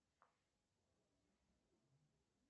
афина канал рбк